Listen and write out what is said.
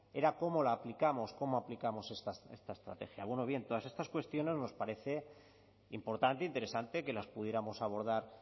era cómo la aplicamos cómo aplicamos esta estrategia bien todas estas cuestiones nos parecen importante e interesante que las pudiéramos abordar